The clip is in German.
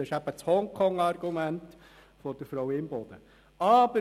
» Das ist das Hongkong-Argument von Natalie Imboden. «